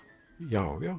já